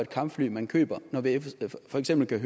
kampfly man køber når vi for eksempel kan